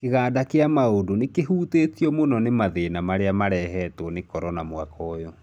Kĩganda kĩa maũndũ nĩkĩhutĩtio mũno nĩ mathĩna marĩa marehetwo nĩ korona mwaka ũyũ.